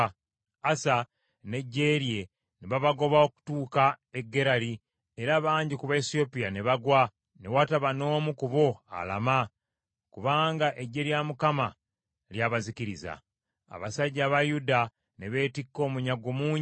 Asa n’eggye lye ne babagoba okutuuka e Gerali, era bangi ku Baesiyopya ne bagwa, ne wataba n’omu ku bo alama, kubanga eggye lya Mukama lyabazikiriza. Abasajja aba Yuda ne beetikka omunyago mungi.